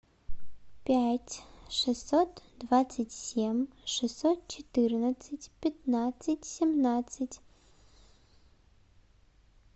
пять шестьсот двадцать семь шестьсот четырнадцать пятнадцать семнадцать